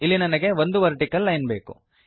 ಇಲ್ಲಿ ನನಗೆ ಒಂದು ವರ್ಟಿಕಲ್ ಲೈನ್ ಬೇಕು